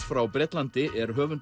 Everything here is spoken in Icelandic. frá Bretlandi er höfundur